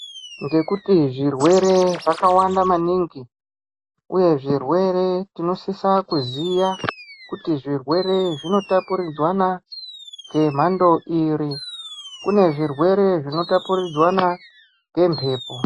Ngekuti zvirwere zvakawanda maningi uye zvirwere tinosisa kuziya kuti zvirwere zvinotapuridzwana ngemhando iri kune zvirwere zvinotapuridzwana ngemhepo.